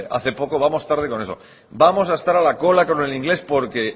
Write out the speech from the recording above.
hace poco vamos tarde con eso vamos a estar a la cola con el inglés porque